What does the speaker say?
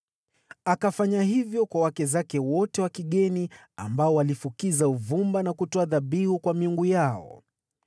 Akafanya hivyo kwa wake zake wote wa kigeni, ambao walifukiza uvumba na kutoa dhabihu kwa miungu yao.